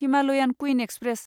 Himalayan Queen express